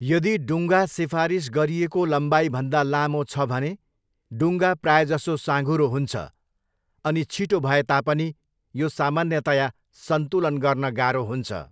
यदि डुङ्गा सिफारिस गरिएको लम्बाइभन्दा लामो छ भने, डुङ्गा प्रायजसो साँघुरो हुन्छ, अनि छिटो भए तापनि यो सामान्यतया सन्तुलन गर्न गाह्रो हुन्छ।